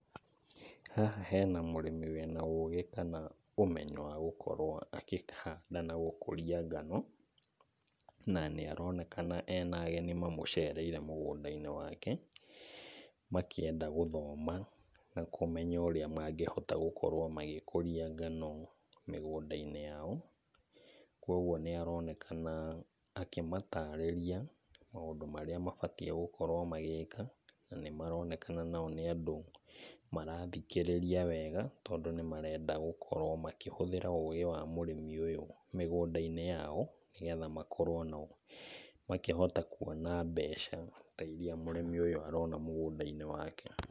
Haha hena mũrĩmi wĩna ũgĩ kana ũmenyo wa gũkorwo akĩhanda na gũkũria ngano. Na, nĩ aronekana ena ageni mamũcereire mũgũnda-inĩ wake, makĩenda gũthoma na kũmenya ũrĩa mangĩhota gũkorwo magĩkũria ngano mĩgũnda-inĩ yao. Kuoguo, nĩaronekana akĩmatarĩria maũndũ marĩa mabatiĩ gũkorwo magĩka na nĩmaronekana nao nĩ andũ marathikĩrĩria wega tondũ nĩmarenda gũkorwo makĩhũthĩra ũgĩ wa mũrĩmi ũyũ mĩgũnda-inĩ yao, nĩgetha makorwo na makĩhota kuona mbeca ta iria mũrĩmi ũyũ arona mũgũnda-inĩ wake.